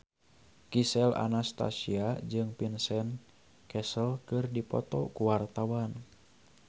Gisel Anastasia jeung Vincent Cassel keur dipoto ku wartawan